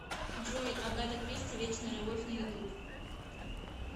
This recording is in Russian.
джой агата кристи вечная любовь на ютуб